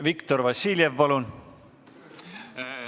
Viktor Vassiljev, palun!